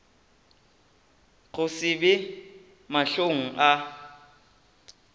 go se be mahlong a